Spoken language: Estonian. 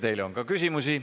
Teile on ka küsimusi.